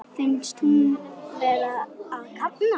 Finnst hún vera að kafna.